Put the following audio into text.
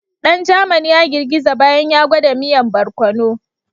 Dan German ya girgiza bayan ya gwada miyan bararkono.